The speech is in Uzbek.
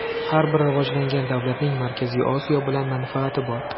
Har bir rivojlangan davlatning Markaziy Osiyo bilan manfaati bor.